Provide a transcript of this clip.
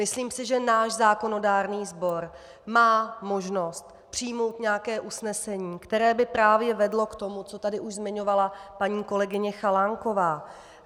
Myslím si, že náš zákonodárný sbor má možnost přijmout nějaké usnesení, které by právě vedlo k tomu, co tady už zmiňovala paní kolegyně Chalánková.